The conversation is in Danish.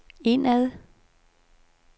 indad